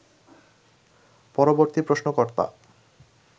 পরবর্তী প্রশ্নকর্তা